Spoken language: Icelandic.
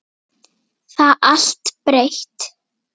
Það er allt breytt.